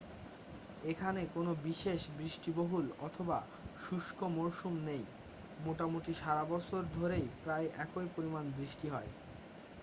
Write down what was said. এখানে কোনো বিশেষ বৃষ্টিবহুল অথবা শুষ্ক মরসুম নেই মোটামুটি সারা বছর ধরেই প্রায় একই পরিমাণ বৃষ্টি হয়